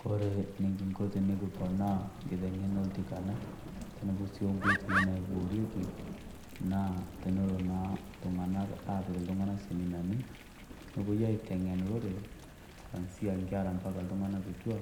Kore enekinko tenekiponaa nkiteng'ena oltikana, tenebo sii o nkoitoi naiboorieki, naa tenelo naa iltung'ana apik iltung'ana seminani newoi aiteng'en lorere, kwanzia nkera mpaka iltung'ana kitua,